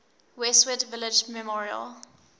westwood village memorial